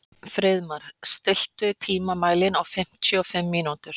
Friðmar, stilltu tímamælinn á fimmtíu og fimm mínútur.